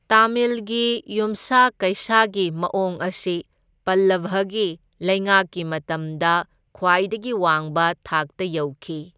ꯇꯥꯃꯤꯜꯒꯤ ꯌꯨꯝꯁꯥ ꯀꯩꯁꯥꯒꯤ ꯃꯑꯣꯡ ꯑꯁꯤ ꯄꯜꯂꯚꯒꯤ ꯂꯩꯉꯥꯛꯀꯤ ꯃꯇꯝꯗ ꯈ꯭ꯋꯥꯏꯗꯒꯤ ꯋꯥꯡꯕ ꯊꯥꯛꯇ ꯌꯧꯈꯤ꯫